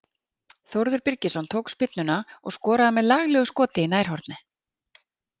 Þórður Birgisson tók spyrnuna og skoraði með laglegu skoti í nærhornið.